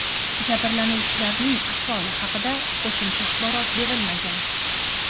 Jabrlanuvchilarning ahvoli haqida qo‘shimcha axborot berilmagan.